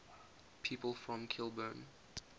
people from kilburn